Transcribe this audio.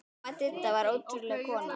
Amma Didda var ótrúleg kona.